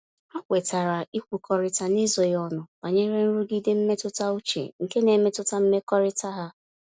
Ha kwetara ịkwukọrịta n'ezoghị ọnụ banyere nrụgide mmetụta uche nke n'emetụta mmekọrịta ha.